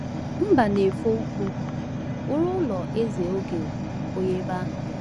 “Mbanefo Ukwu” wuru ụlọ eze oge oyi ebe ahụ.